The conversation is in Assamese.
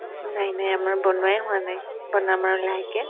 নাই নাই আমাৰ বনোৱাই হোৱা নাই বনাম আৰু লাহেককে